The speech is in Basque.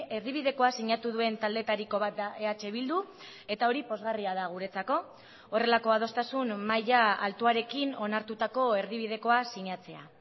erdibidekoa sinatu duen taldeetariko bat da eh bildu eta hori pozgarria da guretzako horrelako adostasun maila altuarekin onartutako erdibidekoa sinatzea